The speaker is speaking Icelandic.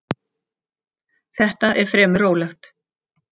Þetta er fremur rólegt.